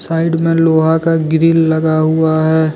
Side में लोहा का ग्रिल लगा हुआ है।